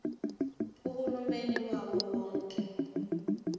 uhulumeni wawo wonke